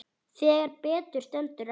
Þegar betur stendur á